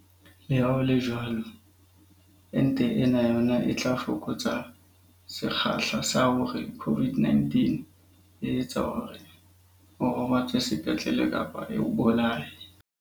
Leha ho le jwalo, ente ena yona e tla fokotsa sekgahla sa hore COVID-19 e etse hore o robatswe sepetlele kapa e o bolaye.